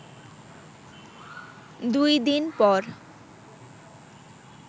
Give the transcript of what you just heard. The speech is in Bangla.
দুই দিন পর